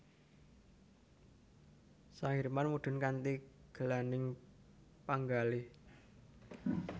Sang Hirman mundhur kanthi gelaning panggalih